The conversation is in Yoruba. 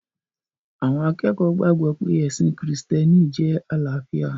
Àwọn akẹ́kọ̀ọ́ gbàgbọ̀ pé ẹ̀sìn krìstẹ́nì jẹ́ àlàáfíà